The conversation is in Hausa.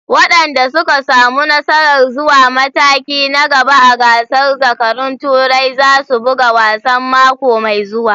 Wadanda suka samu nasarar zuwa mataki na gaba a gasar zakarun Turai za su buga wasan mako mai zuwa.